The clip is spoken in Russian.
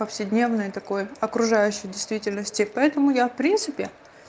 повседневной такой окружающей действительности поэтому я в принципе